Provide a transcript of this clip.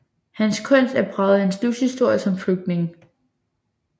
Hans kunst er præget af hans livshistorie som flygtning